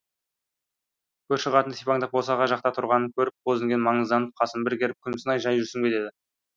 көрші қатын сипаңдап босаға жақта тұрғанын көріп бозінген маңызданып қасын бір керіп күмсінай жай жүрсің бе деді